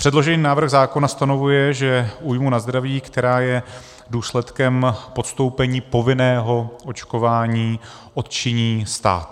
Předložený návrh zákona ustanovuje, že újmu na zdraví, která je důsledkem podstoupení povinného očkování, odčiní stát.